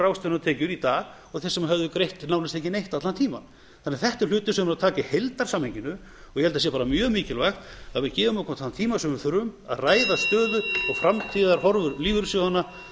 ráðstöfunartekjur í dag og þeir sem höfðu greitt nánast ekki neitt allan tímann þetta er hlutur sem verður að taka í heildarsamhenginu og ég held að það sé mjög mikilvægt að við gefum okkur þann tíma sem við þurfum til að ræða stöðu og framtíðarhorfur lífeyrissjóðanna